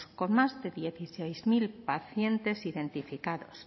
con más de dieciséis mil pacientes identificados